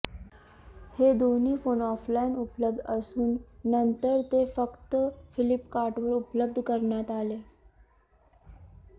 हे दोन्ही phone offline उपलब्ध असून नतंर ते फक्त फ्लिपकार्टवर उपलब्ध करण्यात आले